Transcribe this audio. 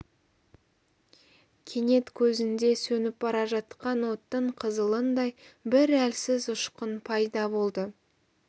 кенет көзінде сөніп бара жатқан оттың қызылындай бір әлсіз ұшқын пайда болды